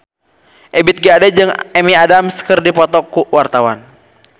Ebith G. Ade jeung Amy Adams keur dipoto ku wartawan